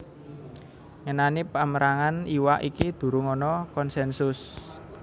Ngenani pamérangan iwak iki durung ana konsènsus